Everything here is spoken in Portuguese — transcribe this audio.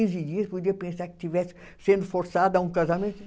Quinze dias, podia pensar que estivesse sendo forçada a um casamento.